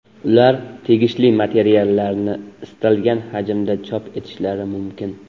Ular tegishli materiallarni istalgan hajmda chop etishlari mumkin.